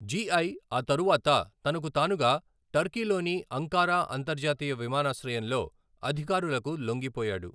G I ఆ తరువాత తనకు తానుగా టర్కీలోని అంకారా అంతర్జాతీయ విమానాశ్రయంలో అధికారులకు లొంగిపోయాడు.